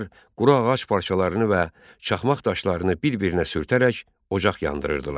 Onlar quru ağac parçalarını və çaxmaq daşlarını bir-birinə sürtərək ocaq yandırırdılar.